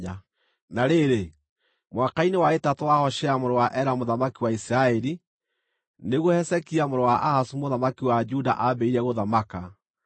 Na rĩrĩ, mwaka-inĩ wa ĩtatũ wa Hoshea mũrũ wa Ela mũthamaki wa Isiraeli, nĩguo Hezekia mũrũ wa Ahazu mũthamaki wa Juda aambĩrĩirie gũthamaka.